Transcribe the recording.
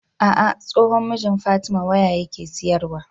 Ah ah tsohon mijin fatima waya yake siyar wa